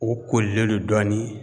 O kolilen do dɔɔni